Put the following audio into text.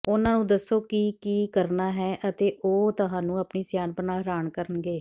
ਉਨ੍ਹਾਂ ਨੂੰ ਦੱਸੋ ਕਿ ਕੀ ਕਰਨਾ ਹੈ ਅਤੇ ਉਹ ਤੁਹਾਨੂੰ ਆਪਣੀ ਸਿਆਣਪ ਨਾਲ ਹੈਰਾਨ ਕਰਨਗੇ